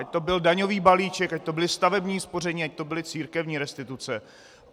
Ať to byl daňový balíček, ať to bylo stavební spoření, ať to byly církevní restituce.